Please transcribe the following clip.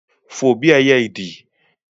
fò bí ẹyẹ ìdì